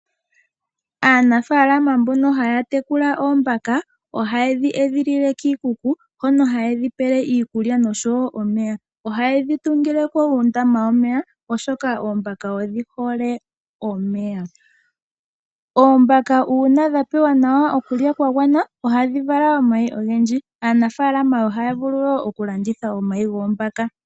Aanafaalama mbono haya tekula oombaka, ohaye dhi edhilile kiikuku, hono ha ye dhi pele iikulya nosho wo omeya. Oha ye dhi tungile ko uundama womeya oshoka oombaka odhi hole omeya. Oombaka uuna dha pewa okulya kwa gwana, ohadhi vala omayi ogendji. Aanafaalama ohaya vulu wo oku landitha omayi goombaka.